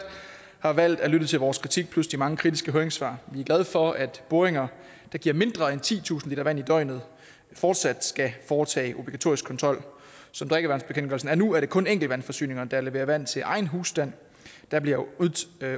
har valgt at lytte til vores kritik plus de mange kritiske høringssvar vi er glade for at boringer der giver mindre end titusind liter vand i døgnet fortsat skal foretage obligatorisk kontrol som drikkevandsbekendtgørelsen er nu er det kun enkeltvandforsyninger der leverer vand til egen husstand der bliver